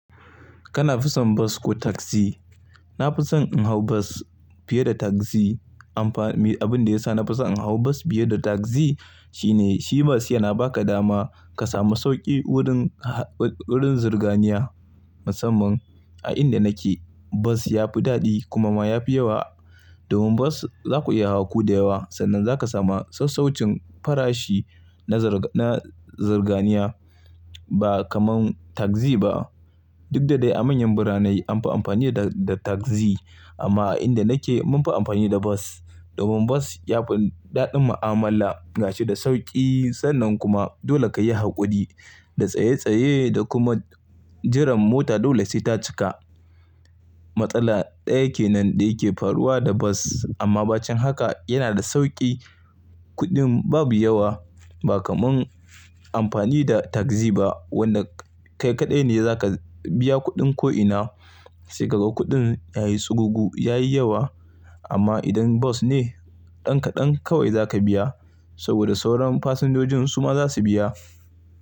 Kana fi son bas ko tagzi? Na fi son in hau bas fiye da tagzi. Amfa-- me abin da ya sa na fi son in hau bas fiye da tagzi shine shi bas yana ba ka dama ka samu sauƙi wurin, wurin zirganiya. Musamman a inda nake bas ya fi daɗi kuma ma ya fi yawa. Domin bas za ku iya hawa ku da yawa sannan za ka samu sassaucin farashi na zarga-na zirganiya ba kamar tagzi ba. Duk da dai a manyan birane an fi amfani da, da tagzi amma a inda nake mun fi amfani da bas. Domin bas yafi daɗin ma'amala gashi da sauƙi sannan kuma dole ka yi haƙuri da tsaye tsaye da kuma jiran mota dole sai ta cika. Matsala ɗaya kenan da yake faruwa da bas amma bacen haka yana da sauƙi, kuɗin babu yawa ba kamar amfani da tagzi ba wanda kai kaɗai ne za ka biya kuɗin ko'ina sai ka ga kuɗin yayi tsugugu, yayi yawa. Amma idan bas ne, ɗan kaɗan kawai za ka biya saboda sauran fasinjojin su ma za su biya.